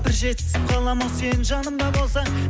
бір жетісіп қаламын ау сен жанымда болсаң